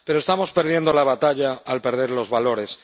Pero estamos perdiendo la batalla al perder los valores.